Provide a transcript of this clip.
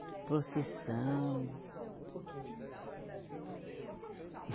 Procissão. Conta um pouquinho de detalhe para a gente, eu estou, até eu estou curioso.